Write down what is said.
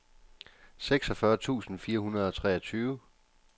seksogfyrre tusind fire hundrede og treogtyve